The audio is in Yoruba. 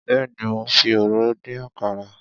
Béèni mo fi òróró dín àkàrà.